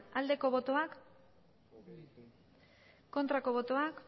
aldeko botoak aurkako botoak